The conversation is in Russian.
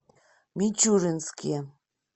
мичуринске